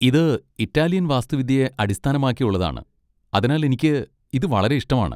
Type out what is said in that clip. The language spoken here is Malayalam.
ഇത് ഇറ്റാലിയൻ വാസ്തുവിദ്യയെ അടിസ്ഥാനമാക്കിയുള്ളതാണ്, അതിനാൽ എനിക്ക് ഇത് വളരെ ഇഷ്ടമാണ്.